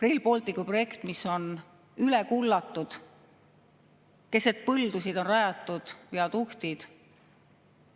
Rail Balticu projekt on üle kullatud, keset põldusid on rajatud viaduktid.